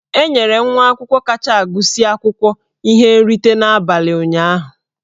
E nyere nwa akwụkwọ kacha agụsị akwụkwọ ihe nrite n'abalị ụnyahụ.